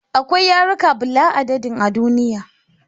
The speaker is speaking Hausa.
Akwai yarika bula'a dadin a duniya